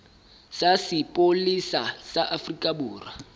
sa sepolesa sa afrika borwa